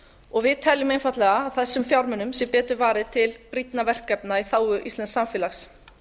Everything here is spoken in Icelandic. og við teljum einfaldlega að þessum fjármunum sé betur varið til brýnna verkefna í þágu íslensks samfélags